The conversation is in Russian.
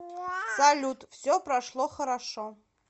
салют все прошло хорошо